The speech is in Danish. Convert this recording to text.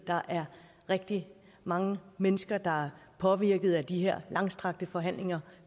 der er rigtig mange mennesker der er påvirket af de langstrakte forhandlinger